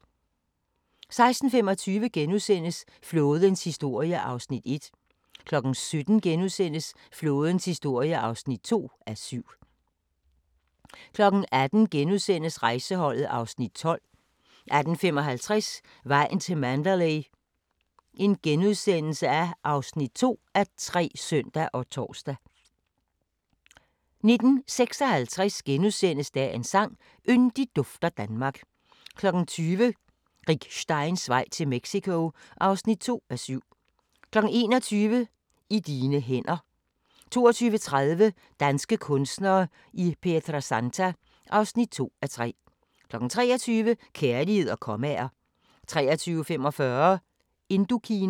16:25: Flådens historie (1:7)* 17:00: Flådens historie (2:7)* 18:00: Rejseholdet (Afs. 12)* 18:55: Vejen til Mandalay (2:3)*(søn og tor) 19:56: Dagens sang: Yndigt dufter Danmark * 20:00: Rick Steins vej til Mexico (2:7) 21:00: I dine hænder 22:30: Danske kunstnere i Pietrasanta (2:3) 23:00: Kærlighed og kommaer 23:45: Indokina